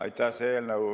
Aitäh!